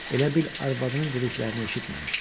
Elə bil arvadının dediklərini eşitməmişdi.